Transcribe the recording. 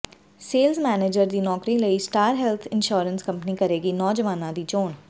sales manager ਦੀ ਨੌਕਰੀ ਲਈ ਸਟਾਰ ਹੈਲਥ ਇੰਸ਼ੋਰੈਂਸ ਕੰਪਨੀ ਕਰੇਗੀ ਨੌਜਵਾਨਾਂ ਦੀ ਚੋਣ